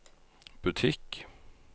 butikk